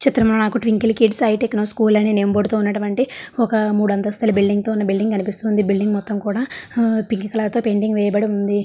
ఈ చిత్రం లో నాకు twinkle kids I techno school name board తో ఉన్నటువంటి ఆ ఒక మూడు అంతస్తులతో బిల్డింగ్ తో ఉన్న బిల్డింగ్ కనిపిస్తుంది. బిల్డింగ్ మొత్తం కూడా హు పింక్ కలర్ తో పెయింటింగ్ వేయబడి ఉంది.